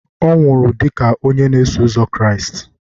ọ nwụrụ dị ka onye na-eso ụzọ Kraịst